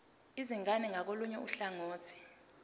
izingane ngakolunye uhlangothi